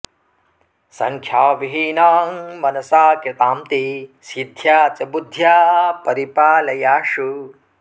संख्याविहीनां मनसा कृतां ते सिद्ध्या च बुद्ध्या परिपालयाशु